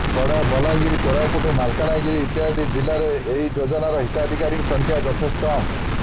ପଡ଼ା ବଲାଙ୍ଗିର କୋରାପୁଟ ମାଲକାନଗିରି ଇତ୍ୟାଦି ଜିଲ୍ଲାରେ ଏହି ଯୋଜନାର ହିତାଧିକାରୀଙ୍କ ସଂଖ୍ୟା ଯଥେଷ୍ଟ କମ୍